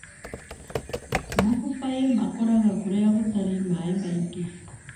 Mababaĩ makũraga kũrĩa gũtarĩ maĩ maingĩ.